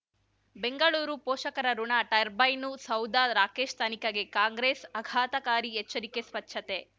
ಬೆಂಗಳೂರು ಪೋಷಕರಋಣ ಟರ್ಬೈನು ಸೌಧ ರಾಕೇಶ್ ತನಿಖೆಗೆ ಕಾಂಗ್ರೆಸ್ ಆಘಾತಕಾರಿ ಎಚ್ಚರಿಕೆ ಸ್ವಚ್ಛತೆ